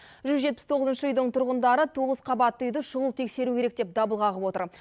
жүз жетпіс тоғызыншы үйдің тұрғындары тоғыз қабатты үйді шұғыл тексеру керек деп дабыл қағып отыр